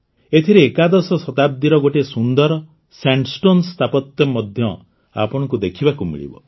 ଏଥିରେ ଏକାଦଶ ଶତାବ୍ଦୀର ଗୋଟିଏ ସୁନ୍ଦର ସ୍ୟାଣ୍ଡ୍ଷ୍ଟୋନ୍ ସ୍ଥାପତ୍ୟ ମଧ୍ୟ ଆପଣଙ୍କୁ ଦେଖିବାକୁ ମିଳିବ